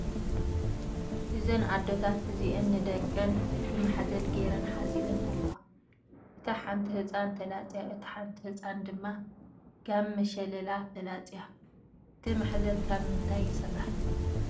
እዘን ኣዶታት እዚአን ንደቀን ብማሕዘል ገይረን ሓዚለን ኣለዋ ። እታ ሓንቲ ህፃን ተላፅያ እታ ሓንቲ ህፃን ድማ ጋመ ሸለላ ተላፅያ ። እቲ ማሕዘል ካብ ምንታይ ይስራሕ ?